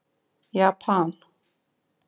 Japan